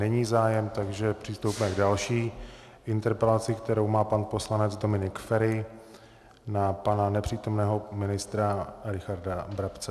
Není zájem, takže přistoupíme k další interpelaci, kterou má pan poslanec Dominik Feri na pana nepřítomného ministra Richarda Brabce.